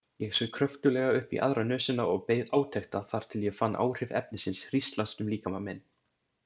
Ég saug kröftuglega upp í aðra nösina og beið átekta þar til ég fann áhrif efnisins hríslast um líkama minn.